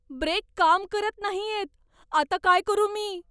Break काम करत नाहीयेत. आता काय करू मी?